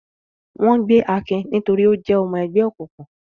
Wọ́n gbé Akin nítorí ó jẹ́ ọmọ ẹgbẹ́ òkùnkùn.